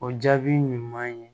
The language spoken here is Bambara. O jaabi ɲuman ye